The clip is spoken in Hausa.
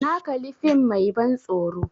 Na kali fim mai ban tsoro